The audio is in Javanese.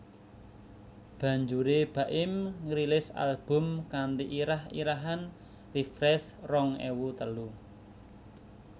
Banjuré Baim ngrilis album kanthi irah irahan Refresh rong ewu telu